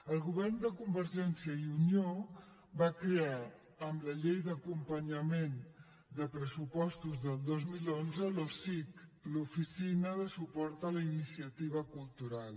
el govern de convergència i unió va crear amb la llei d’acompanyament de pressupostos del dos mil onze l’osic l’oficina de suport a la iniciativa cultural